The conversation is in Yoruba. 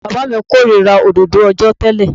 Bàbá mi kórìíra òdodo òòjọ́ tẹ́lẹ̀.